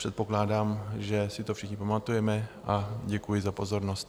Předpokládám, že si to všichni pamatuje, a děkuji za pozornost.